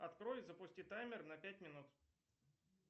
открой и запусти таймер на пять минут